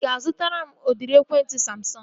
Ị ga-azụtara m udịri ekwentị Samsọngu?